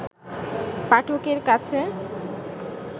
পাঠকের কাছে